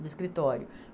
do escritório.